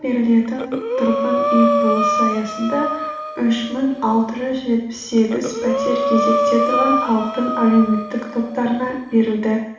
берілетін тұрғын үй құрылысы аясында үш мың алты жүз жетпіс сегіз пәтер кезекте тұрған халықтың әлеуметтік топтарына берілді